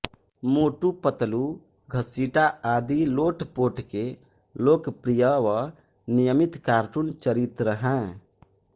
मोटूपतलूघसीटा आदि लोटपोट के लोकप्रिय व नियमित कार्टून चरित्र हैं